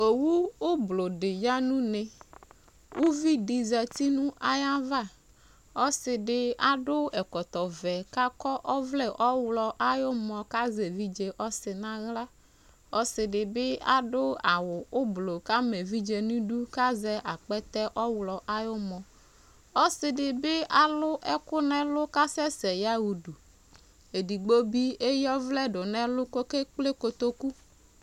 Owu ʋblʋɔ di ya nʋ une Uvi di zati nʋ ayava Ɔsi di adʋ ɛkɔtɔ vɛ kʋ akɔ ɔvlɛ ɔwlɔmɔ kʋ azɛ evidze ɔsi n'aɣla Ɔsi di bi adʋ awʋ ʋblʋɔ kʋ ama evidze nidʋ kazɛ akpɛtɛ ɔwlɔmɔ Ɔsi di bi alʋ ɛkʋ n'ɛlʋ kʋ asɛsɛ yaɣa udu Edigbo bi eya ɔvlɛ dʋ n'ɛlʋ kʋ okekple kotoku